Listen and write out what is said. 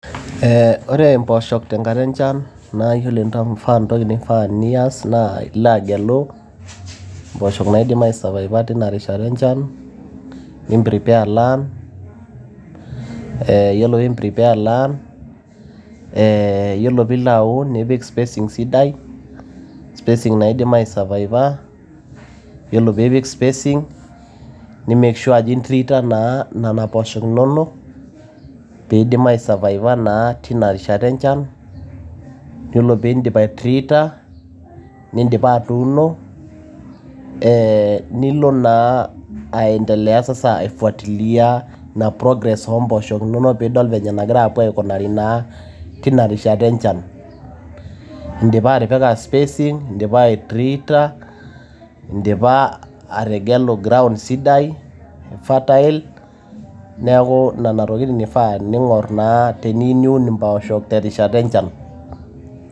Ore mpoosho tenkata enchan naa iyiolo entoki nifaa nias naa ilo gelu impoosho naidim aisurvivor teina rishata enchan, nimprepare land ore pee imprepare land, iyiolo pee ilo aun nipik spacising sidai, spacing naa idim aisurvivor, nimake sure ajo intreator naa inena pooshok inonok, pee eidim aisurvivor naa teinarishata enchan, iyiolo pee idim aitreator, nidipa atuuno nilo naa aendelea afuatilia ina progress oo mpoosho inonok pee idol naa enegira aendelea tenkata enchan, indipa atipika spacing, indipa aitreator, indipa ategelu ground sidai fertile neaku inana tokiting' eifaa ning'or naa teniyieu niun impoosho terishata enchan.